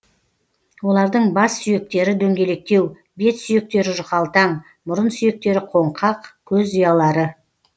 олардың бас сүйектері дөңгелектеу бет сүйектері жұқалтаң мұрын сүйектері қоңқақ көз ұялары